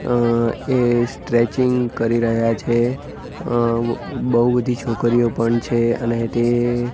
અહ એ સ્ટ્રેચિંગ કરી રહ્યા છે અહ બઉ બધી છોકરીઓ પણ છે અને તે--